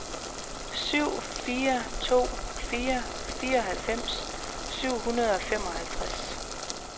syv fire to fire fireoghalvfems syv hundrede og femoghalvtreds